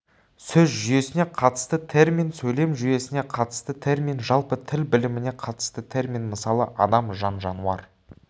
сөз жүйесіне қатысты термин сөйлем жүйесіне қатысты термин жалпы тіл біліміне қатысты термин мысалы адам жан-жануар